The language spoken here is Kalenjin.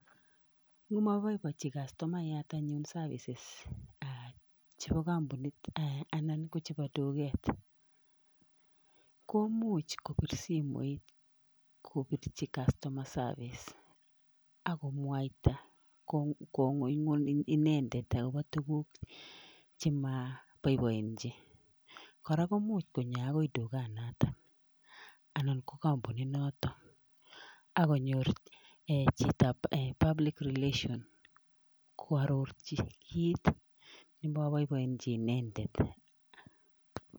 Ngomaboibochi customayat anyun services chebo kampunit anan ko chebo duket, komuch kopir simoit kopirchi customer service, akomwaita kong'ung'un inendet akobo tukuk chemaboiboenchi . Kora komuch konyo akoi tukanotok anan ko kampunitnotok akonyor chitop public relations, koararchi kit nemaboiboenchi inendet.